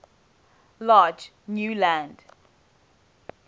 large new land